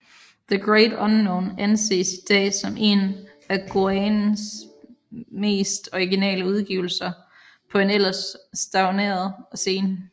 The Great Unknown anses i dag som én af Goaens mest originale udgivelser på en ellers stagneret scene